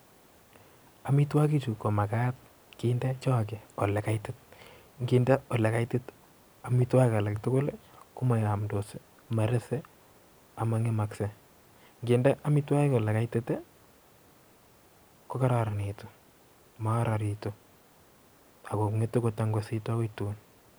Amitwokichu ko makat kinde choke olekaitit. Nkinde olekaitit amitwokik alaktukul komayamdos, marese amang'emakse. Nkinde amitwokik olekaitit, kokararanitu maararitu akong'etu kotangusitu akoi tun.